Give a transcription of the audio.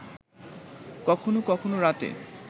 কখনও কখনও রাতে